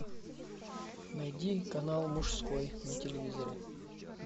найди канал мужской на телевизоре